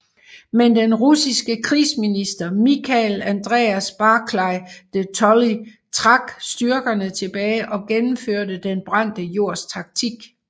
Men den russiske krigsminister Michael Andreas Barclay de Tolly trak styrkerne tilbage og gennemførte Den brændte jords taktik